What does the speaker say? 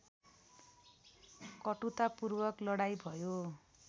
कटुतापूर्वक लडाईँ भयो